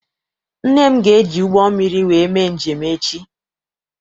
Nne m ga eji ụgbọ mmiri wee mee njem echi.